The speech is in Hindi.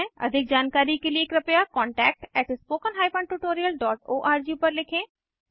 अधिक जानकारी के लिए कृपया contact at spoken hyphen tutorial dot O R G पर लिखें